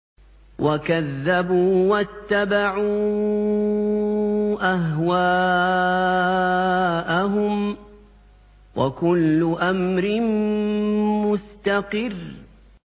وَكَذَّبُوا وَاتَّبَعُوا أَهْوَاءَهُمْ ۚ وَكُلُّ أَمْرٍ مُّسْتَقِرٌّ